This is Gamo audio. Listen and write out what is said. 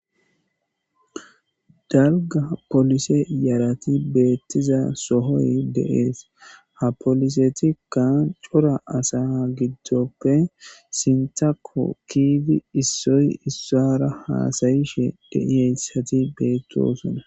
Dalga polise yarati beettiza sohoy deees ha polisetikka cora asa giddoppe sintako kiidi issoy issara haasayishe deiyeyssati beettosona